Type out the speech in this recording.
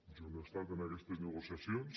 jo no he estat en aquestes negociacions